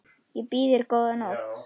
Ég býð þér góða nótt.